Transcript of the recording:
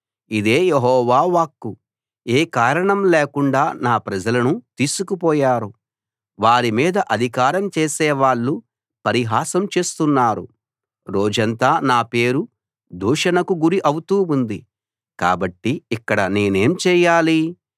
ఇదే యెహోవా వాక్కు ఏ కారణం లేకుండా నా ప్రజలను తీసుకుపోయారు వారి మీద అధికారం చేసేవాళ్ళు పరిహాసం చేస్తున్నారు రోజంతా నా పేరు దూషణకు గురి అవుతూ ఉంది కాబట్టి ఇక్కడ నేనేం చేయాలి